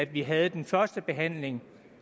vi havde den første behandling